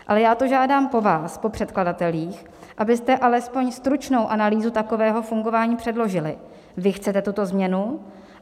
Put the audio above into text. Ale já to žádám po vás, po předkladatelích, abyste alespoň stručnou analýzu takového fungování předložili, když chcete tuto změnu.